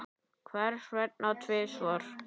Hvers vegna tvisvar?